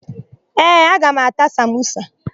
Ee, aga m ata samosa.